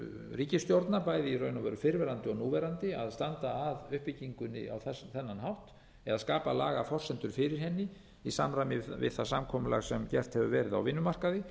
ríkisstjórna bæði í raun og veru fyrrverandi og núverandi að standa að uppbyggingunni á þennan hátt eða skapa lagaforsendur fyrir henni í samræmi við það samkomulag sem gert hefur verið á vinnumarkaði